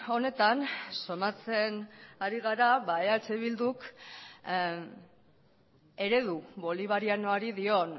honetan somatzen ari gara ba eh bilduk eredu bolivarianoari dion